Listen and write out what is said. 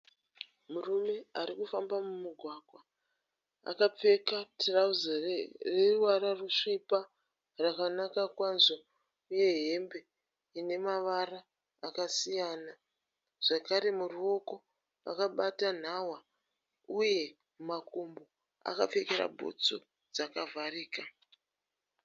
Murume arikufamba mumugwagwa. Akapfeka tirauzi reruvara rusvipa rakanaka kwazvo uye hembe ine mavara akasiyana. Zvakare muruoko akabata nhava uye mumakumbo akapfekera bhutsu dzakavharika.